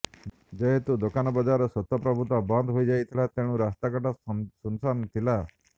ଯେହେତୁ ଦୋକାନବଜାର ସ୍ବତଃପ୍ରବୃତ୍ତ ବନ୍ଦ ହୋଇଯାଇଥିଲା ତେଣୁ ରାସ୍ତାଘାଟ ଶୂନ୍ଶାନ୍ ଥିଲା